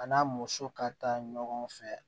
A n'a mɔmuso ka taa ɲɔgɔn fɛ